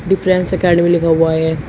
Defence academy लिखा हुआ है।